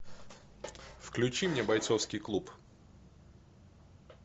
включи мне бойцовский клуб